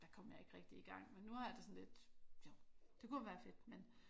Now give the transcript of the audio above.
Der kom jeg ikke rigtig igang men nu har jeg det sådan lidt jo det kunne være fedt men